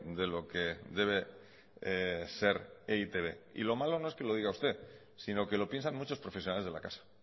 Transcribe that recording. de lo que debe ser e i te be y lo malo no es que lo diga usted sino que lo piensan muchos profesionales de la casa